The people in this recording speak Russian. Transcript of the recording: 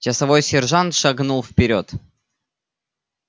часовой сержант шагнул вперёд